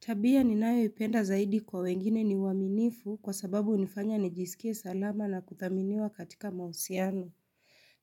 Tabia ni nayo ipenda zaidi kwa wengine ni uaminifu kwa sababu unifanya nijisikie salama na kuthaminiwa katika mausiano.